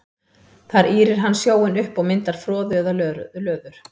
Þar ýrir hann sjóinn upp og myndar froðu eða löður.